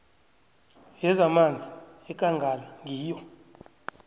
yezamanzi yekangala ngiyo